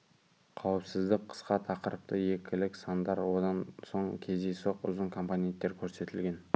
қауіпсіздік қысқа тақырыпты екілік сандар одан соң кездейсоқ ұзын компонентер көрсетілген